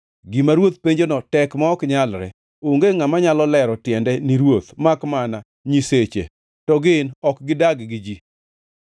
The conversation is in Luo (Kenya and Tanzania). Gima ruoth penjono tek ma ok nyalre. Onge ngʼama nyalo lero tiende ni ruoth, makmana nyiseche, to gin ok gidag gi ji.”